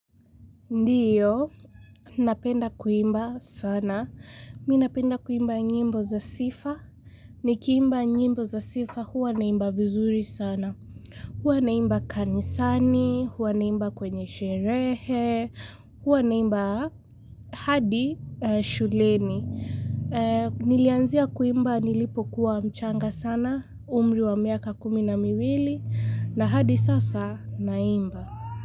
Ndiyo, napenda kuimba sana, mi napenda kuimba nyimbo za sifa, nikiimba nyimbo za sifa huwa naimba vizuri sana, huwa naimba kanisani, huwa naimba kwenye sherehe, huwa naimba hadi shuleni. Nilianzia kuimba nilipo kuwa mchanga sana, umri wa miaka kumi na miwili, na hadi sasa naimba.